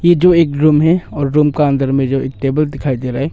ये जो एक रूम है और रूम का अंदर में जो एक टेबल दिखाई दे रहा है।